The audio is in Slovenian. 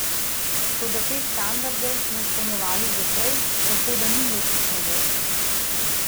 Toda te standarde smo izpolnjevali že prej, tako da ni nekih novosti.